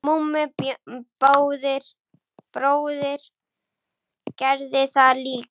Mummi bróðir gerði það líka.